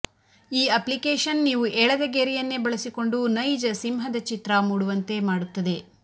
ಈ ಅಪ್ಲಿಕೇಷನ್ ನೀವು ಎಳೆದ ಗೆರೆಯನ್ನೇ ಬಳಸಿಕೊಂಡು ನೈಜ ಸಿಂಹದ ಚಿತ್ರ ಮೂಡುವಂತೆ ಮಾಡುತ್ತದೆ